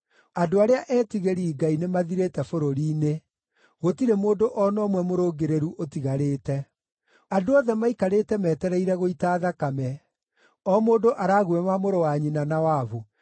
Andũ arĩa eetigĩri Ngai nĩmathirĩte bũrũri‑inĩ, gũtirĩ mũndũ o na ũmwe mũrũngĩrĩru ũtigarĩte. Andũ othe maikarĩte metereire gũita thakame; o mũndũ araguĩma mũrũ wa nyina na wabu.